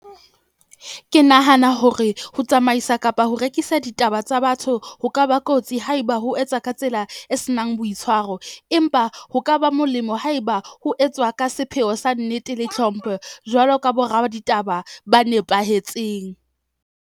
Ke nahana hore ho tsamaisa kapa ho rekisa ditaba tsa batho ho ka ba kotsi haeba ho etsa ka tsela e senang boitshwaro. Empa ho ka ba molemo haeba ho etswa ka sepheo sa nnete le hlompho jwalo ka bo raditaba ba nepahetseng.